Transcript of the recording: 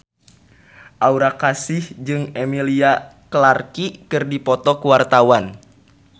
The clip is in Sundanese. Aura Kasih jeung Emilia Clarke keur dipoto ku wartawan